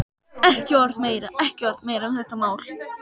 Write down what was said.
Ekki orð meira, ekki orð meira um þetta mál.